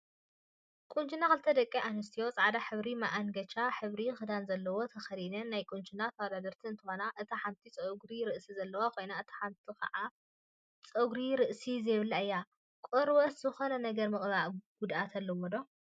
ቆንጅና ክልተ ደቂ አንስትዮ ፃዕዳን ሕብራዊ መአንገቻ ሕብሪ ክዳን ዘለዎ ተከዲነን ናይ ቁንጅና ተወዳደርቲ እንትኮና፤ እታ ሓንቲ ፀጉሪ ርእሲ ዘለዋ ኮይና እታ ሓንቲ ከዓ ጨጉሪ ርእሲ ዘይብላ እያ፡፡ ቆርበትካ ዝኮነ ነገር ምቅባእ ጉድአት አለዎ ዶ?